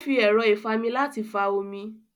Ó fi ẹ̀rọ́ ìfami láti fa omi